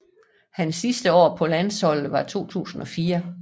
Hans sidste år på landsholdet var i 2004